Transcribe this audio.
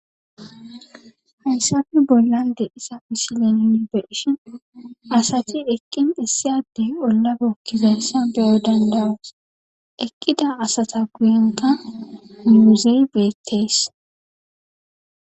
Hayssafi bollande isa misilen nibeishin asacti eqqin issiyadey ollabokkizayssa beyo dandawus eqqida asata guyenka miuzey beettees.